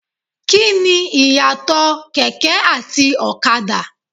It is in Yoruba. Kíni Ìyàtọ̀ kẹ̀kẹ́ àti ọ̀kadà?